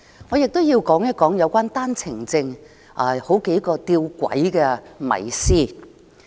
我想說一說有關單程證的幾個弔詭迷思。